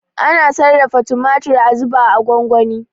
Ana sarrafa tumatir a zuba a gwangwani.